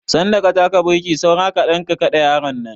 Sanda ka taka burki saura kaɗan ka kaɗe yaron nan.